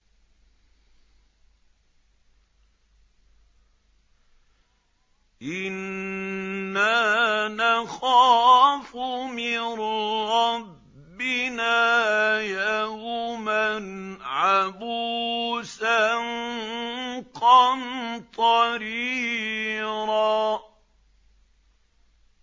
إِنَّا نَخَافُ مِن رَّبِّنَا يَوْمًا عَبُوسًا قَمْطَرِيرًا